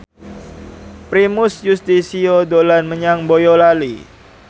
Primus Yustisio dolan menyang Boyolali